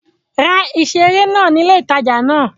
Ra ìseré náà ní ilé ìtajà náà